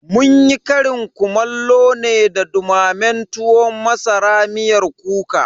Munyi ƙarin kumallo ne da dumamen tuwon masara miyar kuka.